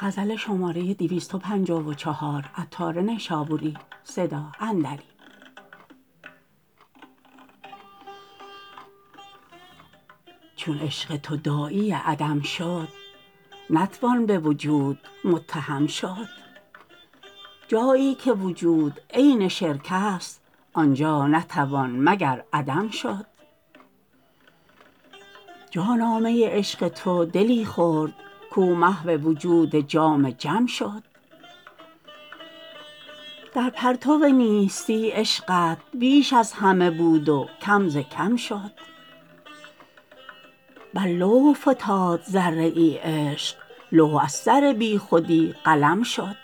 چون عشق تو داعی عدم شد نتوان به وجود متهم شد جایی که وجود عین شرک است آنجا نتوان مگر عدم شد جانا می عشق تو دلی خورد کو محو وجود جام جم شد در پرتو نیستی عشقت بیش از همه بود و کم ز کم شد بر لوح فتاد ذره ای عشق لوح از سر بی خودی قلم شد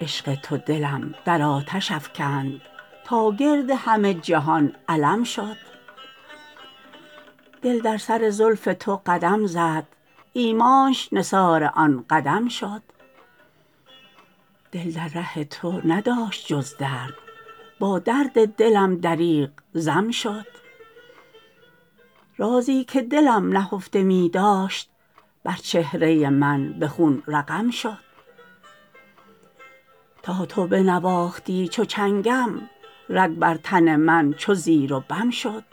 عشق تو دلم در آتش افکند تا گرد همه جهان علم شد دل در سر زلف تو قدم زد ایمانش نثار آن قدم شد دل در ره تو نداشت جز درد با درد دلم دریغ ضم شد رازی که دلم نهفته می داشت بر چهره من به خون رقم شد تا تو بنواختی چو چنگم رگ بر تن من چو زیر و بم شد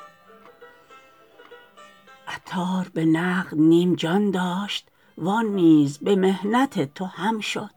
عطار به نقد نیم جان داشت وان نیز به محنت تو هم شد